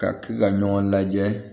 Ka ɲɔgɔn lajɛ